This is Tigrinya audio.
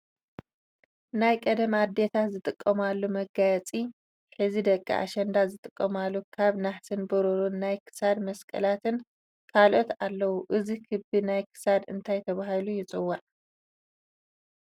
ናይቀደም ኣዴታት ዝጥቀማሉ መጋየፂ ሕዚ ደቂ ኣሸንዳ ዝጥቀማሉ ካብ ነሃስን ብሩርን ናይ ክሳድ መስቀላትን ካልኦትን ኣለዉ እዚ ክቢ ናይ ክሳድ እንታይ ተባሂሉ ይፅዋዕ ?